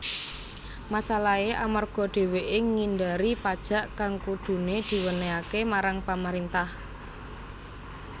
Masalahé amarga dheweké ngindari pajak kang kuduné diwenehaké marang pamarintah